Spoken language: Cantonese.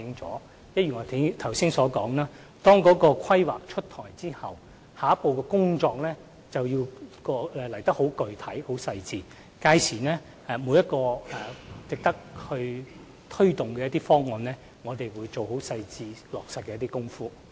正如我剛才所說，當《規劃》出台後，下一步的工作便會更具體和精細，屆時每一項值得推動的方案，我們都會仔細落實。